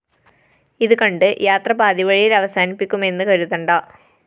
ഇതുകണ്ട് യാത്ര പാതിവഴി യില്‍ അവസാനിപ്പിക്കുമെന്ന് കരുതണ്ട